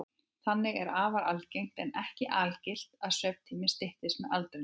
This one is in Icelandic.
Þannig er afar algengt, en ekki algilt, að svefntíminn styttist með aldrinum.